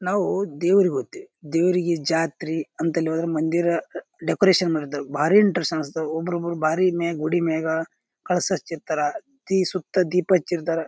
ನಾವು ದೇವರಿಗ ಹೋಗ್ತಿವಿ ದೇವ್ರಿಗ ಜಾತ್ರಿ ಅಂತೆಲ್ಲಾ ಹೋದ್ರ ಮಂದಿರ ಡೆಕೋರೇಷನ್ ಮಾಡಿದ್ದವು ಭಾರಿ ಇಂಟರೆಸ್ಟ್ ಅನಸ್ತವ. ಒಬ್ಬೊಬ್ರು ಭಾರಿ ಮೇ ಗುಡಿ ಮೇಗ ಕಳಸ ಹಚ್ಚಿರ್ತಾರ ತಿ ಸುತ್ತ ದೀಪ ಹಚ್ಚಿರ್ತಾರ.